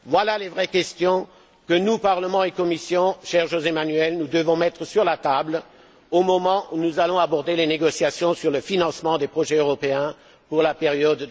Voilà les vraies questions que nous, Parlement et Commission, cher José Manuel, nous devons mettre sur la table au moment où nous allons aborder les négociations sur le financement des projets européens pour la période